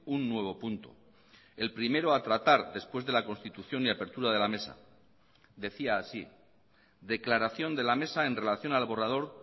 un nuevo punto el primero a tratar después de la constitución y apertura de la mesa decía así declaración de la mesa en relación al borrador